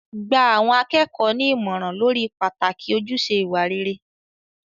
Gba àwọn akẹ́kọ̀ọ́ ní ìmọ̀ràn lórí pàtàkì ojúṣe ìwà rere.